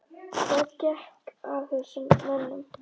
Hvað gekk að þessum mönnum?